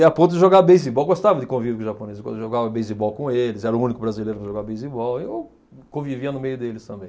E a ponto de jogar beisebol, gostava de convívio com os japoneses, jogava beisebol com eles, era o único brasileiro que jogava beisebol, eu convivia no meio deles também.